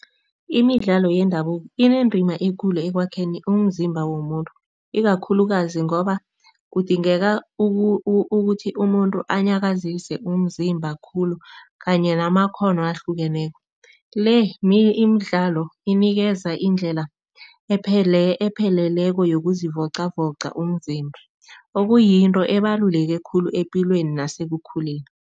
Imidlalo yendabuko inendima ekulu ekwakheni umzimba womuntu ikakhulukazi ngoba kudingeka ukuthi umuntu anyakazise umzimba khulu kanye namakghono ahlukeneko. Le Imidlalo inikeza indlela epheleleko yokuzivocavoca umzimba okuyinto ebaluleke khulu epilweni nekukhuleni.